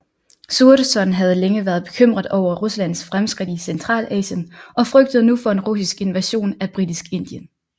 Curzon havde længe været bekymret over Ruslands fremskridt i Centralasien og frygtede nu for en russisk invasion af Britisk Indien